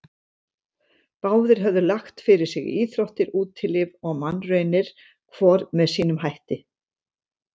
Báðir höfðu lagt fyrir sig íþróttir, útilíf og mannraunir, hvor með sínum hætti.